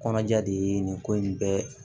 Kɔnɔja de ye nin ko in bɛɛ